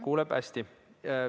Kuuleb hästi.